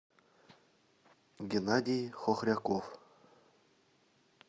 геннадий хохряков